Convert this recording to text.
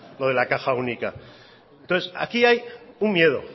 lo de la caja única entonces aquí hay un miedo